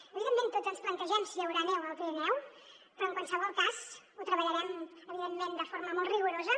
evidentment tots ens plantegem si hi haurà neu al pirineu però en qualsevol cas ho treballarem evidentment de forma molt rigorosa